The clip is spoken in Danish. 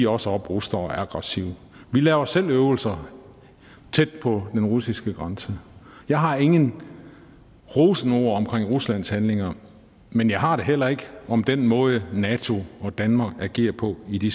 også at opruste og er aggressive vi laver selv øvelser tæt på den russiske grænse jeg har ingen rosende ord omkring ruslands handlinger men jeg har det heller ikke om den måde som nato og danmark agerer på i de